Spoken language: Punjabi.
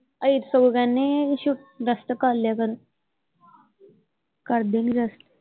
ਅਸੀਂ ਤੇ ਸਗੋਂ ਕਹਿਣੇ ਛੁਟ ਰੈਸਟ ਕਰਲਿਆ ਕਰੋ ਕਰਦੇ ਨਹੀਂ ਰੈਸਟ।